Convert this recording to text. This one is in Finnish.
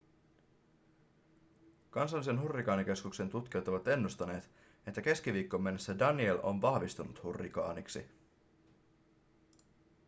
kansallisen hurrikaanikeskuksen tutkijat ovat ennustaneet että keskiviikkoon mennessä danielle on vahvistunut hurrikaaniksi